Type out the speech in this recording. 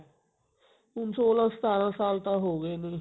ਹੁਣ ਸੋਲਹਾਂ ਸਤਾਰਾਂ ਸਾਲ ਤਾਂ ਹੋ ਗਏ ਇਹਨੂੰ ਹੀ